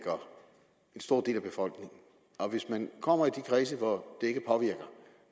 jeg stor del af befolkningen og hvis man kommer i de kredse hvor